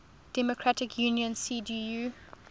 democratic union cdu